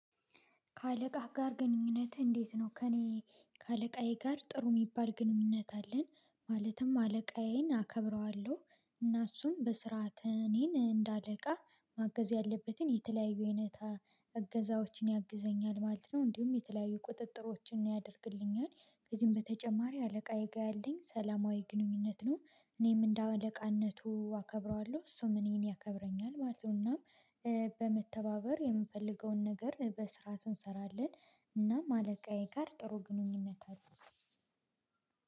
ከአለቃህ ጋር ግንኙነት እንዴት ነው? ከእኔ ከአለቃዬ ጋር ጥሩ የሚባል ግንኙነት አለን። ማለትም አለቃዬን አከብረዋለሁ። እና እሱም በስርዓት እኔን እንደ አለቃ ማገዝ ያለበትን የተለያዩ አይነት እገዛዎችን ያግዘኛል ማለት ነው። እንዲሁም የተለያዩ ቁጥጥሮችን ያደርግልኛል። ከዚህም በተጨማሪ አለቃዬ ጋር ያለኝ ሰላማዊ ግንኙነት ነው። እኔም እንደ አለቃነቱ አከብረዋለሁ እሱም እኔን ያከብረኛል ማለት ነው። እናም በመተባበር የምንፈልገውን ነገር በስርዓት እንሰራለን። እናም አለቃዬ ጋር ጥሩ ግንኙነት አለው።